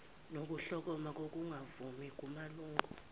nokuhlokoma kokungavumi kumalungu